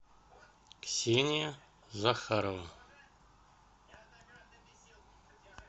ксения захарова